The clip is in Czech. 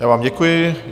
Já vám děkuji.